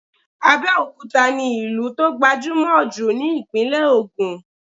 Abẹ́òkúta ni ìlú tó gbajúmọ̀ jù ni ìpínlẹ̀ Ògùn